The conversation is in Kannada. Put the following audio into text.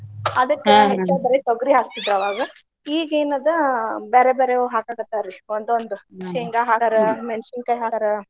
ಬರಿ ತೊಗರಿ ಹಾಕ್ತಿದ್ರ್ ಅವಾಗ. ಈಗ್ ಏನ್ ಅದ ಬ್ಯಾರೆ ಬ್ಯಾರೆವ್ ಹಾಕಾಕತ್ತಾರ್ರಿ ಒಂದೊಂದ ಹಾಕ್ತಾರ, ಮೆಣಸಿನಕಾಯಿ ಹಾಕ್ತಾರ.